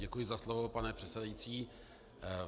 Děkuji za slovo, pane předsedající.